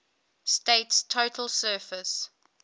state's total surface